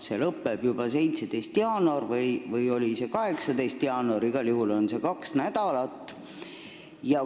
See konkurss lõpeb juba 17. jaanuaril või 18. jaanuaril – igal juhul kestab see kaks nädalat.